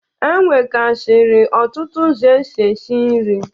E nwegasiri ọtụtụ ụzọ esi esi nri.